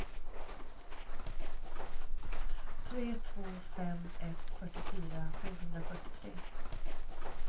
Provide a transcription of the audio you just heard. tre två fem ett fyrtiofyra sjuhundrafyrtiotre